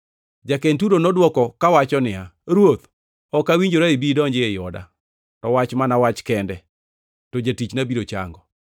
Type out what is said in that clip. Ja-Kenturo nodwoko kawacho niya, “Ruoth, ok awinjora ibi idonji ei oda. To wach mana wach kende, to jatichna biro chango.